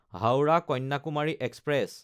হাওৰা–কন্যাকুমাৰী express